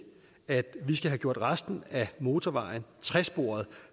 at vi skal have gjort resten af motorvejen tresporet